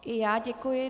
I já děkuji.